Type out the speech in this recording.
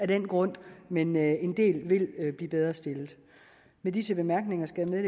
den grund men at en del vil blive bedre stillet med disse bemærkninger skal jeg